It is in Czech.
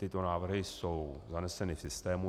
Tyto návrhy jsou zaneseny v systému.